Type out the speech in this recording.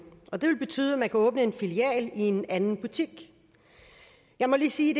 og det vil betyde at man kan åbne en filial i en anden butik jeg må lige sige